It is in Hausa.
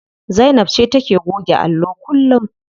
Zainab ce take goge allo kullum.